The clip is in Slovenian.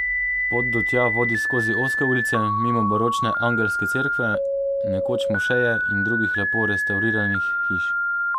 Pot do tja vodi skozi ozke ulice, mimo baročne angelske cerkve, nekoč mošeje, in drugih lepo restavriranih hiš.